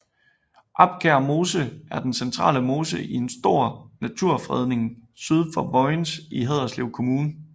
Abkær Mose er den centrale mose i en stor naturfredning syd for Vojens i Haderslev Kommune